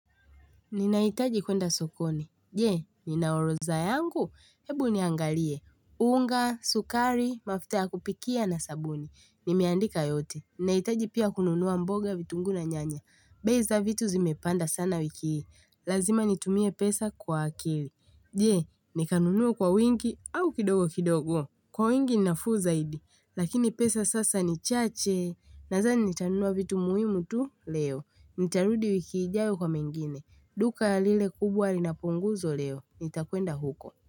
Ninahitaji kuenda sokoni. Je, nina oroza yangu. Hebu niangalie. Unga, sukari, mafuta ya kupikia na sabuni. Nimeandika yote. Ninahitaji pia kununua mboga vitunguu na nyanya. Bei za vitu zimepanda sana wiki. Lazima nitumie pesa kwa akili. Je, nikanunue kwa wingi au kidogo kidogo. Kwa wingi ni nafuu zaidi. Lakini pesa sasa ni chache. Nadhani nitanunua vitu muhimu tu leo. Nitarudi wiki ijayo kwa mengine. Duka lile kubwa linapunguzo leo, nitakwenda huko.